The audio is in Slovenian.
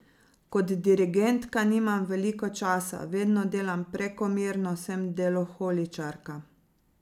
Kot dirigentka nimam veliko časa, vedno delam prekomerno, sem deloholičarka.